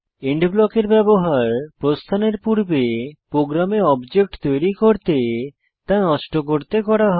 and ব্লকের ব্যবহার প্রস্থানের পূর্বে প্রোগ্রামে অবজেক্ট তৈরী করতে তা নষ্ট করতে করা হয়